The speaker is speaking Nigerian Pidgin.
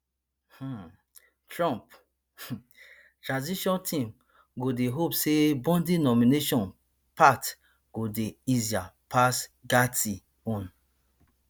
um trump um transition team go dey hope say bondi nomination path go dey easier pass gaetz own